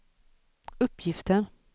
uppgiften